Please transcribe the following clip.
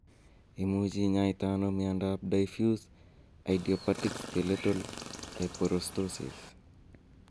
Imuche inyaite ano miondap diffuse idiopathic skeletal hyperostosis?